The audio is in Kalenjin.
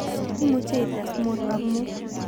Imuche ites mut ak mut